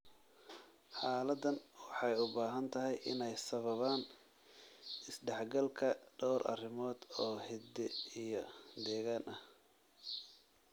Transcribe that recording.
Xaaladahan waxay u badan tahay inay sababaan isdhexgalka dhowr arrimood oo hidde iyo deegaan ah.